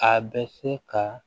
A bɛ se ka